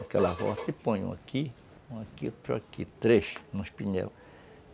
Aquela e põe um aqui, um aqui, outro aqui, três nos pneus.